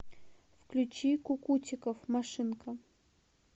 включи кукутиков машинка